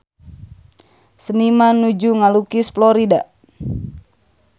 Seniman nuju ngalukis Florida